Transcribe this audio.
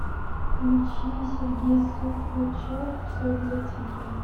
включи сергей сухачев все для тебя